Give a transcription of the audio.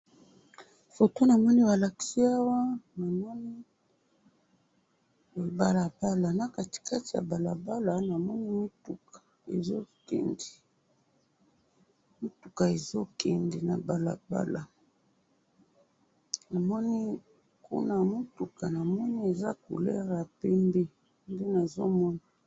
Foto namoni balakisi awa, namoni balabala, na katikati ya balabala namoni mutuka ezokende, mutuka ezo kende na balabala , namoni kuna ya mutuka namoni eza couleur ya pembe, nde nazomona.